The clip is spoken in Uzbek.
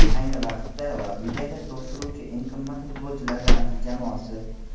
Ayni vaqtda La Ligada to‘p suruvchi eng qimmat futbolchilar ramziy jamoasi.